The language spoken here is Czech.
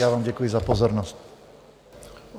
Já vám děkuji za pozornost.